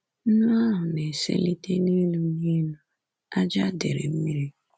Nnu ahụ na-eselite nelu nelu ájá dere mmiri.